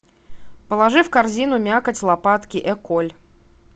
положи в корзину мякоть лопатки эколь